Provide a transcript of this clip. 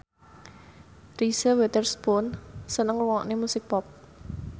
Reese Witherspoon seneng ngrungokne musik pop